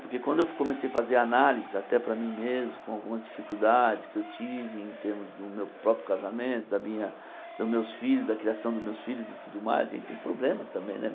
Porque quando eu comecei a fazer análises, até para mim mesmo, com algumas dificuldades que eu tive em termos do meu próprio casamento, da minha... dos meus filhos, da criação dos meus filhos e tudo mais, a gente tem problemas também, né?